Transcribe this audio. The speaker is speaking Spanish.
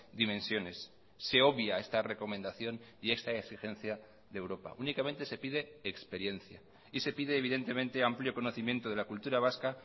dimensiones se obvia esta recomendación y esta exigencia de europa únicamente se pide experiencia y se pide evidentemente amplio conocimiento de la cultura vasca